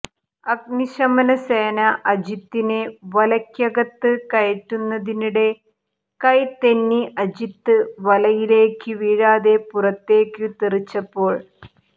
അഗ്നിശമന സേന അജിത്തിനെ വലയ്ക്കകത്ത് കയറ്റുന്നതിനിടെ കൈ തെന്നി അജിത്ത് വലയിലേക്കു വീഴാതെ പുറത്തേക്കു തെറിച്ചപ്പോൾ